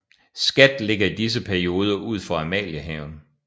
Skat ligger i disse perioder ud for Amaliehaven